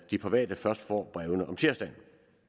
de private først får brevene om tirsdagen